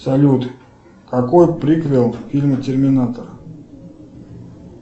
салют какой приквел в фильме терминатор